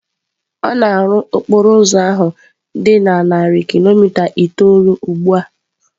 A na-arụ okporo ụzọ ahụ dị narị kilomita itoolu ugbu a.